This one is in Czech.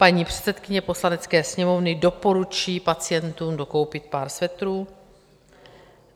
Paní předsedkyně Poslanecké sněmovny doporučí pacientům dokoupit pár svetrů?